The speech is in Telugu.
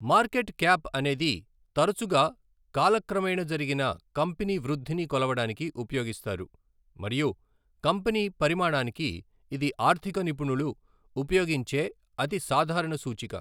మార్కెట్ క్యాప్ అనేది తరచుగా కాలక్రమేణా జరిగిన కంపెనీ వృద్ధిని కొలవడానికి ఉపయోగిస్తారు మరియు కంపెనీ పరిమాణానికి ఇది ఆర్థిక నిపుణులు ఉపయోగించే అతి సాధారణ సూచిక.